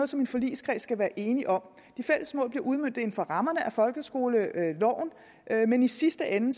som en forligskreds skal være enige om de fælles mål bliver udmøntet inden for rammerne af folkeskoleloven men i sidste ende